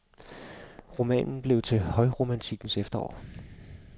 Romanen blev til i højromantikkens efterår.